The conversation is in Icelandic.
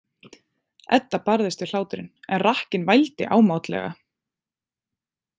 Edda barðist við hláturinn en rakkinn vældi ámátlega.